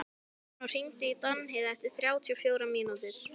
Fannþór, hringdu í Danheiði eftir þrjátíu og fjórar mínútur.